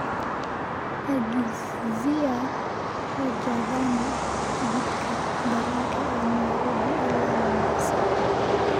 agizia rajdhani tigidhka tareenka ee nairobi ilaa mombasa